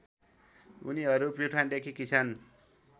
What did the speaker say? उनीहरू प्युठानदेखि किसान